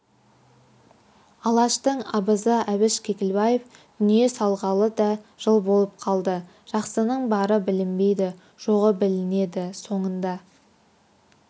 алаштың абызы әбіш кекілбаев дүние салғалы да жыл болып қалды жақсының бары білінбейді жоғы білінеді соңында